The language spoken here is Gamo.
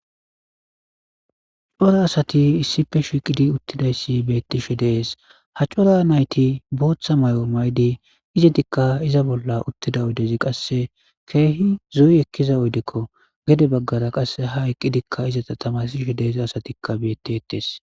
Cora asati issife shiiqidi uttidayssi beettishe dees ha cora nayti booththa may7o maydi iza dikka iza bolla uttida oydezi qasse keehi zo7yi ekkiza oyddekko gede baggara qasse ha eqqidikka izata tamasishe deeza asatikka beetti ettees.